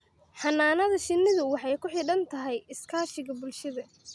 Xannaanada shinnidu waxay ku xidhan tahay iskaashiga bulshada.